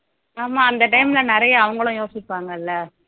ஆமா அந்த time ல நிறைய அவங்களும் யோசிப்பாங்கள்ல